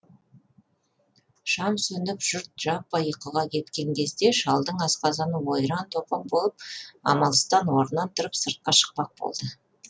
шам сөніп жұрт жаппай ұйқыға кеткен кезде шалдың асқазаны ойран топан болып амалсыздан орнынан тұрып сыртқа шықпақ болады